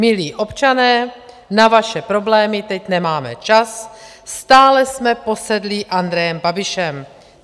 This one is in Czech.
Milí občané, na vaše problémy teď nemáme čas, stále jsme posedlí Andrejem Babišem.